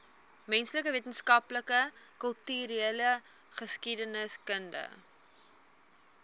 menslike wetenskappe kultureelgeskiedkundige